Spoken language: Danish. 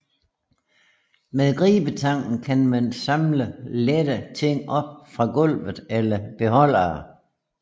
Med gribetangen kan man samle lette ting op fra gulvet eller beholdere